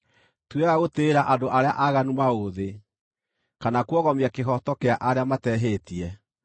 Ti wega gũtĩĩra andũ arĩa aaganu maũthĩ, kana kuogomia kĩhooto kĩa arĩa matehĩtie.